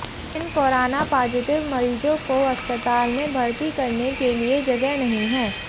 इन corona positive मरीजों को अस्पताल में भर्ती करने के लिए जगह नही है